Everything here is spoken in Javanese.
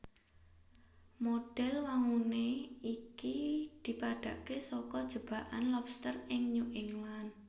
Modhel wangunan iki dipadhakake saka jebakan lobster ing New England